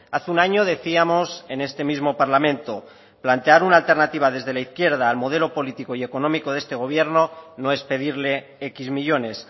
hace un año decíamos en este mismo parlamento plantear una alternativa desde la izquierda al modelo político y económico de este gobierno no es pedirle equis millónes